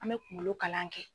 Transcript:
An bɛ kunkolo kalan kɛ.